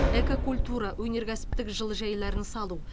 эко культура өнеркәсіптік жылыжайларды салу